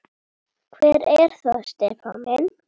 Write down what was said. Hver er það Stefán minn?